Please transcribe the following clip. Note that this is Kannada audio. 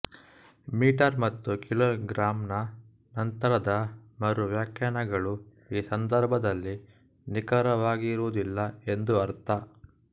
ಮೀಟರ್ ಮತ್ತು ಕಿಲೋಗ್ರಾಮ್ ನ ನಂತರದ ಮರು ವ್ಯಾಖ್ಯಾನಗಳು ಈ ಸಂಬಂಧದಲ್ಲಿ ನಿಖರವಾಗಿರುವುದಿಲ್ಲ ಎಂದು ಅರ್ಥ